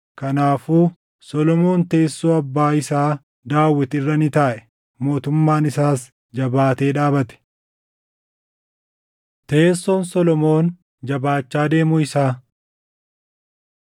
Kanaafuu Solomoon teessoo abbaa isaa Daawit irra ni taaʼe; mootummaan isaas jabaatee dhaabate. Teessoon Solomoon Jabaachaa Deemuu Isaa